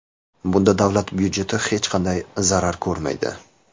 Bunda davlat budjeti hech qanday zarar ko‘rmaydi.